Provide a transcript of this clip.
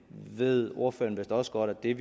ved ordføreren vist også godt i